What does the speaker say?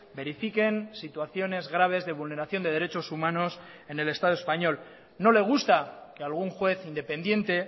verifiquen situaciones graves de vulneración de derechos humanos en el estado español no le gusta que algún juez independiente